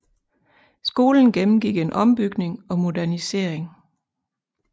Skolen gennemgik en ombygning og modernisering